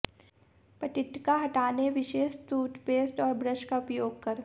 पट्टिका हटाने विशेष टूथपेस्ट और ब्रश का उपयोग कर